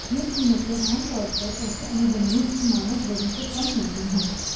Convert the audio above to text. ये कीमतें आमतौर पर ऐसे अनुबंधों की मानक दरों से कम होती हैं